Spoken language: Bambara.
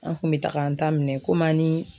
An kun bɛ taga an ta minɛ komi an ni